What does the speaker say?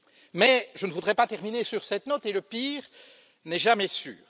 Mais je ne voudrais pas terminer sur cette note et le pire n'est jamais sûr.